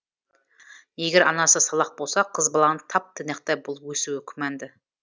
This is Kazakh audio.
егер анасы салақ болса қыз баланың тап тыйнақтай болып өсуі күмәнді